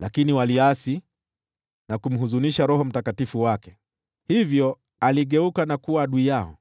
Lakini waliasi, na kumhuzunisha Roho Mtakatifu wake. Hivyo aligeuka na kuwa adui yao,